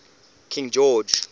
king george